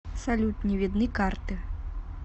салют не видны карты